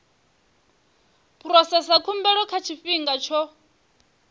phurosesa khumbelo nga tshifhinga tsho